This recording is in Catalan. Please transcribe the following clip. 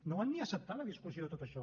no van ni acceptar la discussió de tot això